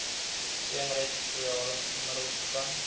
teenretrovirale middels begin